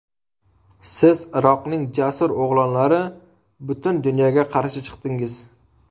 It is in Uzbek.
Siz, Iroqning jasur o‘g‘lonlari, butun dunyoga qarshi chiqdingiz.